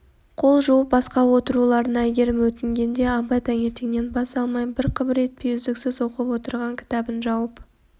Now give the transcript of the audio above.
қол жуып асқа отыруларын әйгерім өтінгенде абай таңертеңнен бас алмай бір қыбыр етпей үздіксіз оқып отырған кітабын жауып